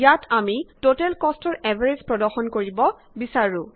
ইয়াত আমি টোটেল কষ্টৰ এভাৰেজ প্ৰদৰ্শন কৰিব বিছৰো